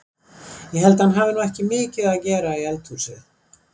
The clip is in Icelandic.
Ég held að hann hafi nú ekki mikið að gera í eldhúsið!